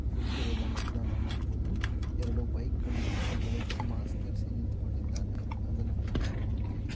ಕುಳಿತಿರುವುದನ್ನ ಕೂಡ ನಾವು ನೋಡಬಹುದು ಎರಡು ಬೈಕ್ ಗಳಿದೆ ಒಬ್ಬ ವ್ಯಕ್ತಿ ಮಾಸ್ಕ್ ಧರಿಸಿ ನಿಂತುಕೊಂಡಿದ್ದಾನೆ ಅದನ್ನು ಕೂಡ ನಾವು ನೋಡಬಹುದು.